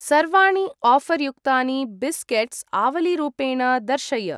सर्वाणि आफर् युक्तानि बिस्केट्स् आवलीरूपेण दर्शय।